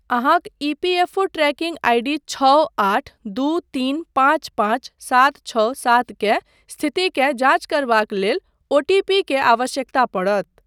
अहाँक EPFO tracking ID छओ आठ दू तीन पाँच पाँच सात छओ सात के स्थितिकेँ जाँच करबाक लेल ओटीपी के आवश्यकता पड़त।